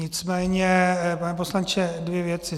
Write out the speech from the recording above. Nicméně, pane poslanče, dvě věci.